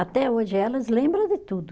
Até hoje elas lembram de tudo.